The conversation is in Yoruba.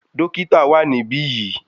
Dókítà wà níbí yìí.